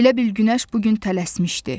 Elə bil günəş bu gün tələsmişdi.